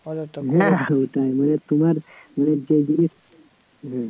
তোমার